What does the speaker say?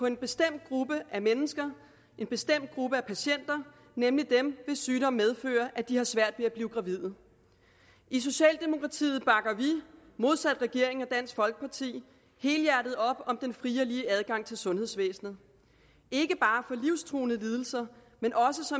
en bestemt gruppe mennesker en bestemt gruppe patienter nemlig dem hvis sygdom medfører at de har svært ved at blive gravide i socialdemokratiet bakker vi modsat regeringen og dansk folkeparti helhjertet op om den frie og lige adgang til sundhedsvæsenet ikke bare livstruende lidelser men også